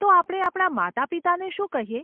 તો, આપણે આપણા માતાપિતાને શું કહીએ?